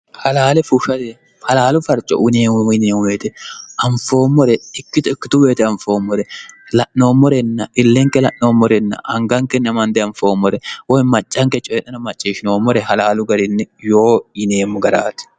halaale fushate halaalu farco uneemmu yineemumeete anfoommore ikkito ikkitu boyete anfoommore la'noommorenna illenke la'noommorenna angankenna mande anfoommore woy maccanke coye'ena macciishshinoommore halaalu garinni yoo yineemmo garaati